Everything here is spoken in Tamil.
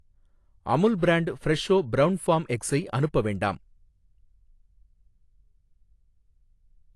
Amul brand Fresho brown farm எக்ஸை அனுப்ப வேண்டாம்.